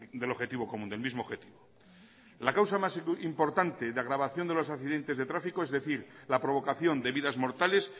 del objetivo común del mismo objetivo la causa más importante de agravación de los accidentes de tráfico es decir la provocación de vidas mortales